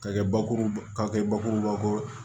K'a kɛ bakuruba kɛ bakuruba ko